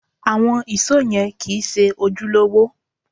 Àwọn ìṣó yẹn kìí ṣe ojúlówó